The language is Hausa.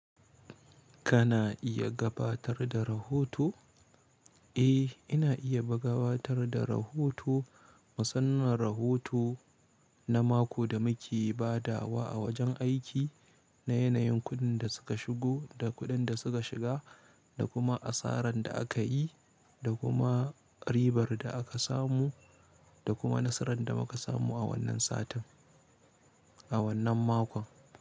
Kana iya gabatar da rahoto? Eh, ina iya bagabatar da rahoto, musan man rahoto na mako da muke badawa a wajen aiki, na yanayin kuɗin da suka shigo da kuɗin da suka shiga, da kuma asaran da aka yi da kuma, ribar da aka samu da kuma nasaran da muka samu a wannan satin, a wannan makon.